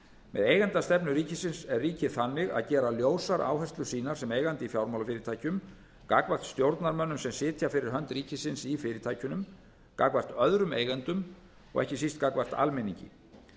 með eigendastefnu ríkisins er ríkið þannig að gera ljósar áherslur sínar sem eigandi í fjármálafyrirtækjum gagnvart stjórnarmönnum sem sitja fyrir hönd ríkisins í fyrirtækjunum gagnvart öðrum eigendum og ekki síst gagnvart almenningi